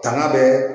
Tanga bɛɛ